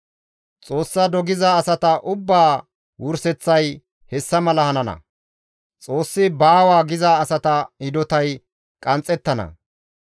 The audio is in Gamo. Xoossa dogiza asata ubbaa wurseththay hessa mala hanana; Xoossi baawa giza asata hidotay qanxxettana.